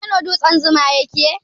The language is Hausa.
A Kano dutsen zuma ya ke?